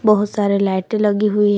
बहुत सारे लाइटे लगी हुई ह--